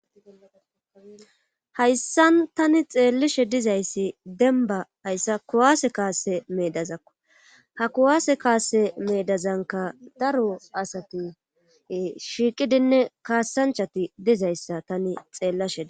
hayssan tani xeellishe dizayssi denba ayssa kuwaase kaase meedazakko ha kuwaase kaase meedazanka daro asati shiiqidinne kaassanchati dizayssa tani xeellashe daysi